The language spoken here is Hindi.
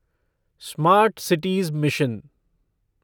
smart cities mission